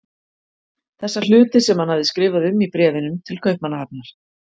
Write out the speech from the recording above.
Þessa hluti sem hann hafði skrifað um í bréfunum til Kaupmannahafnar.